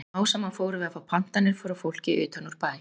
Smám saman fórum við að fá pantanir frá fólki utan úr bæ.